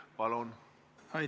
Palun!